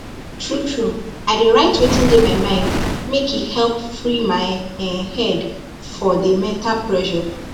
truetrue i dey write wetin dey my mind makee help free my um head for dey mental pressure